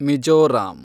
Mizoram